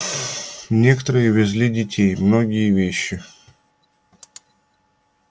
некоторые везли детей многие вещи